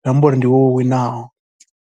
Zwi amba uri ndi iwe wo winaho.